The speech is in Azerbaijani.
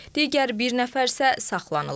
Digər bir nəfər isə saxlanılıb.